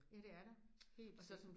Ja det er der. Helt vildt